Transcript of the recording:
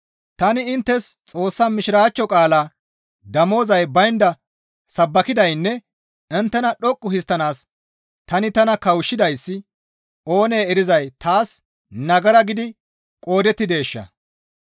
Tani inttes Xoossa Mishiraachcho qaalaa damozay baynda sabbakidaynne inttena dhoqqu histtanaas tani tana kawushshidayssi oonee erizay taas nagara gidi qoodettideesha?